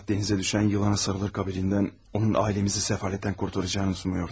Fəqət dənizə düşən yılana sarılır qabilindən, onun ailəmizi səfalətdən qurtaracağını umuyordunuz.